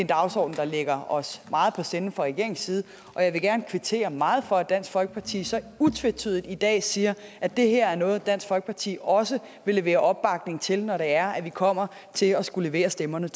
dagsorden der ligger os meget på sinde fra regeringens side og jeg vil gerne kvittere meget for at dansk folkeparti så utvetydigt i dag siger at det her er noget dansk folkeparti også vil levere opbakning til når det er at vi kommer til at skulle levere stemmerne